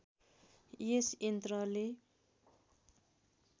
यस यन्त्रले